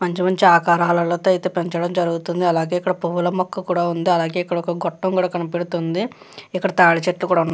మంచి మంచి ఆకారాలతో అయితే పెంచటం జరుగుతుంది. అలాగే ఇక్కడ పూల మొక్క కూడా ఉంది. అలాగే ఇక్కడ గొట్టం కూడా కనపడుతుంది. ఇక్కడ తాటి చెట్లు కూడా --